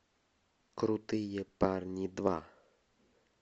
крутые парни два